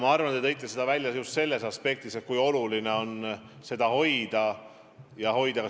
Ma arvan, et te märkisite seda, pidades silmas just seda aspekti, kui oluline on seda tendentsi hoida.